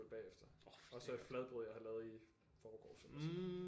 Bagefter og så et fladbrød jeg havde lavet i forgårs eller sådan noget